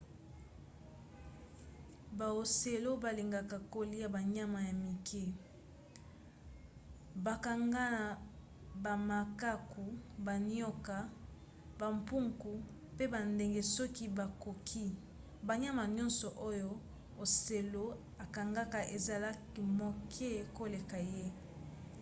baocelot balingaka kolia banyama ya mike. bakangaka bamakaku banioka bampuku mpe bandeke soki bakoki. banyama nyonso oyo ocelot akangaka ezalaka moke koleka ye